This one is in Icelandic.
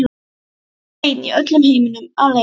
Ég var ein í öllum heiminum, alein.